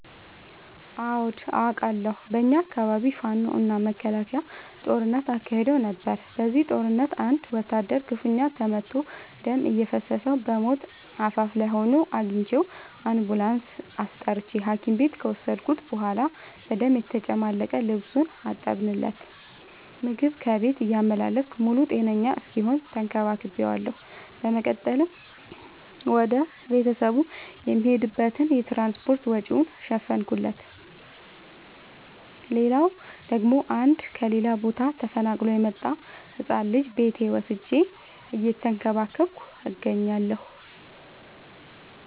አዎድ አቃለሁ። በኛ አካባቢ ፋኖ እና መከላከያ ጦርነት አካሂደው ነበር። በዚህ ጦርነት አንድ ወታደር ክፋኛ ተመቶ ደም እየፈሰሰው በሞት አፋፍ ላይ ሆኖ አግኝቼው። አንቡላንስ አስጠርቼ ሀኪም ቤት ከወሰድከት በኋላ በደም የተጨማለቀ ልብሱን አጠብለት። ምግብ ከቤት እያመላለስኩ ሙሉ ጤነኛ እስኪሆን ተከባክ ቤዋለሁ። በመቀጠልም ወደ ቤተሰቡ የሚሄድበትን የትራንስፓርት ወጪውን ሸፈንኩለት። ሌላላው ደግሞ አንድ ከሌላ ቦታ ተፈናቅሎ የመጣን ህፃን ልጅ ቤቴ ወስጄ እየተንከባከብኩ እገኛለሁ።